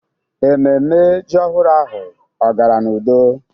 Ememme ji ọhụrụ ahụ ọ gara n'udo?